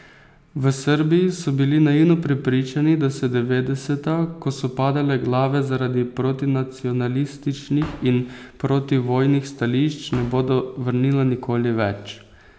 V Srbiji so bili naivno prepričani, da se devetdeseta, ko so padale glave zaradi protinacionalističnih in protivojnih stališč, ne bodo vrnila nikoli več.